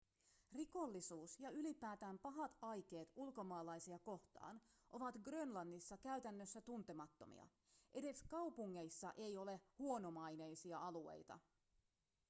rikollisuus ja ylipäätään pahat aikeet ulkomaalaisia kohtaan ovat grönlannissa käytännössä tuntemattomia edes kaupungeissa ei ole huonomaineisia alueita